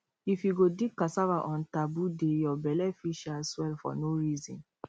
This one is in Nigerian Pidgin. if you go dig cassava on taboo day your belle fit um swell for no reason